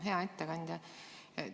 Hea ettekandja!